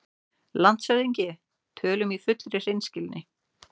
LANDSHÖFÐINGI: Tölum í fullri hreinskilni